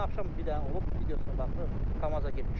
Dünən axşam bir dənə olub, videosuna baxıb KAMAZ-a girmişdi.